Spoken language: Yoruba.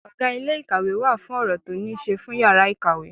Ọgá ilé ìkàwé wà fún ọ̀rọ̀ tó ní ṣe fún yàrá ìkàwé.